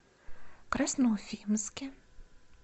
красноуфимске